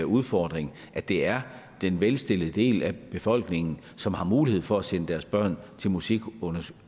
udfordring det er den velstillede del af befolkningen som har mulighed for at sende deres børn til musikundervisning